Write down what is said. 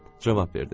cavab verdim.